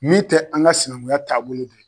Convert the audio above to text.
Min tɛ an ka sinankunya taabolo dɔ